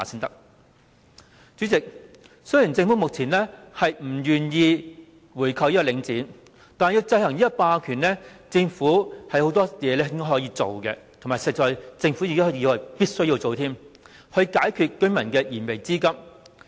主席，雖然政府目前不願意購回領展，但要制衡這個霸權，政府有很多事情可以做，而且是必須做的，以解居民的燃眉之急。